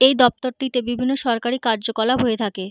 এই দপ্তরটিতে বিভিন্ন সরকারি কার্যকলাপ হয়ে থাকে।